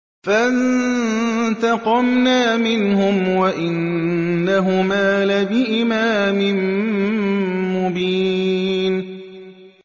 فَانتَقَمْنَا مِنْهُمْ وَإِنَّهُمَا لَبِإِمَامٍ مُّبِينٍ